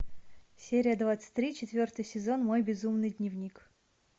серия двадцать три четвертый сезон мой безумный дневник